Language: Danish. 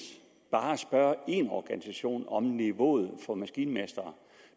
bare at spørge én organisation om niveauet for maskinmestre